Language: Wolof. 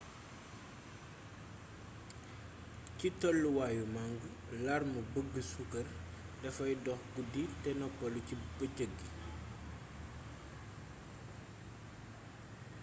ci tolluwaayu màng larme bëgg suukar dafay dox guddi te noppalu ci bëccëg ji